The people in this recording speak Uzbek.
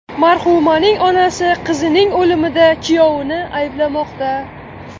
Marhumaning onasi qizining o‘limida kuyovini ayblamoqda.